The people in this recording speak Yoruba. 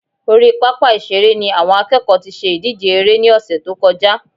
Orí pápá ìṣeré ni àwọn akẹ́kọ̀ọ́ tí ṣe ìdíje eré ní ọ̀sẹ̀ tó kọjá